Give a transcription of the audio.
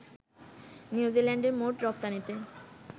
নিউজিল্যান্ডের মোট রপ্তানিতে